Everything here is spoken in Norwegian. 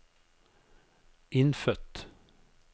innfødt